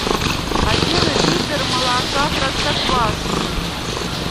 один литр молока простоквашино